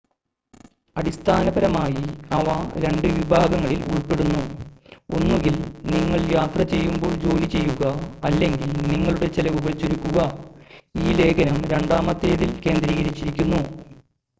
അടിസ്ഥാനപരമായി അവ രണ്ട് വിഭാഗങ്ങളിൽ ഉൾപ്പെടുന്നു ഒന്നുകിൽ നിങ്ങൾ യാത്ര ചെയ്യുമ്പോൾ ജോലി ചെയ്യുക അല്ലെങ്കിൽ നിങ്ങളുടെ ചെലവുകൾ ചുരുക്കുക ഈ ലേഖനം രണ്ടാമത്തേതിൽ കേന്ദ്രീകരിച്ചിരിക്കുന്നു